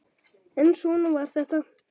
En svona var þetta.